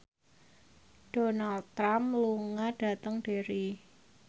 Donald Trump lunga dhateng Derry